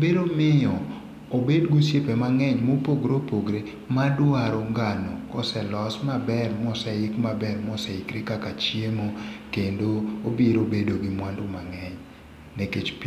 biro miyo obed gi osiepe mangeny mopogore opogore madwaro ngano koselos maber moseik maber moseikre kaka chiemo kendo obiro bedo gi mwandu maber nikech pitho...